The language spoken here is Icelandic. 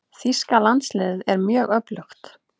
Þýska landsliðið er mjög öflugt.